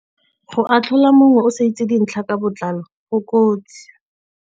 Go atlhola mongwe o sa itse dintlha ka botlalo go kotsi.